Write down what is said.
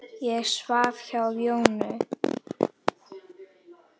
Ég svaf hjá Jónu.